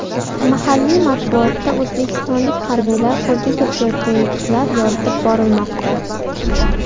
Mahalliy matbuotda o‘zbekistonlik harbiylar qo‘lga kiritayotgan yutuqlar yoritib borilmoqda.